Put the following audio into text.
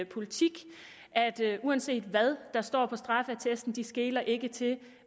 politik at uanset hvad der står på straffeattesten de skeler ikke til